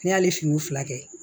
Ne y'ale finiw fila kɛ